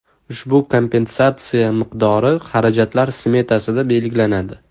Ushbu kompensatsiya miqdori xarajatlar smetasida belgilanadi.